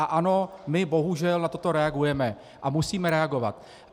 A ano, my bohužel na toto reagujeme a musíme reagovat.